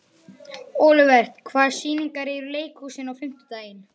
Olivert, hvaða sýningar eru í leikhúsinu á fimmtudaginn?